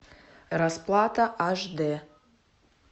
расплата аш дэ